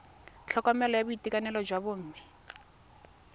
tlhokomelo ya boitekanelo jwa bomme